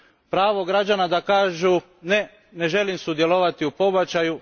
Pravo građana da kažu Ne, ne želim sudjelovati u pobačaju.